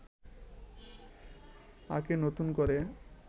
আঁকে নতুন করে